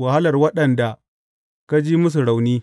wahalar waɗanda ka ji musu rauni.